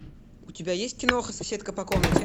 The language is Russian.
у тебя есть киноха соседка по комнате